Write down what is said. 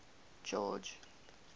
george